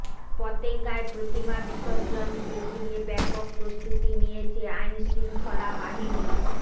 পতেঙ্গায় প্রতিমা বিসর্জনকে ঘিরে ব্যাপক প্রস্তুতি নিয়েছে আইনশৃঙ্খলা বাহিনী